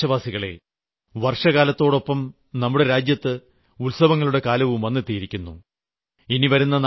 എന്റെ പ്രിയപ്പെട്ട ദേശവാസികളെ വർഷകാലത്തോടെപ്പം നമ്മുടെ രാജ്യത്ത് ഉത്സവങ്ങളുടെ കാലവും വന്നെത്തിയിരിക്കുന്നു